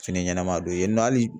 Fini ɲɛnama don yen nɔ hali